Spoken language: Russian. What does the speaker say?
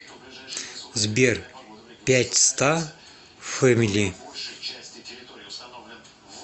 сбер пятьста фэмили